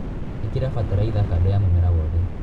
ĩkĩra bataraitha kando ya mũmera wothe.